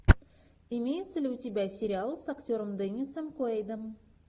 имеется ли у тебя сериал с актером деннисом куэйдом